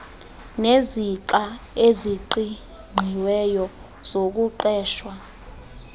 nezixa eziqingqiweyo zokuqeshwa